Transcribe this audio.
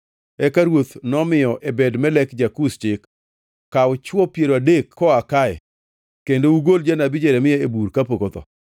Eka ruoth nomiyo Ebed-Melek ja-Kush chik, “Kaw chwo piero adek koa kae kendo ugol janabi Jeremia e bur kapok otho.”